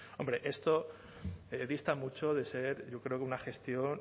hombre esto dista mucho de ser yo creo que una gestión